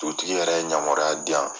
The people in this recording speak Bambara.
Dugutigi yɛrɛ ye ɲamaruya di yan.